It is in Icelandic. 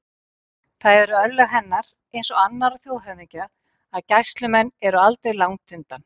Það eru örlög hennar eins og annarra þjóðhöfðingja að gæslumenn eru aldrei langt undan.